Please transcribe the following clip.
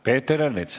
Peeter Ernits.